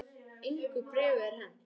Engu bréfi er hent